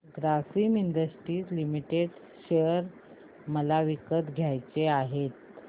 Grasim industries limited share मला विकत घ्यायचे आहेत